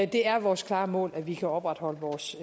det er vores klare mål at vi kan opretholde vores